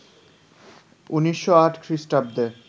১৯০৮ খ্রীস্টাব্দে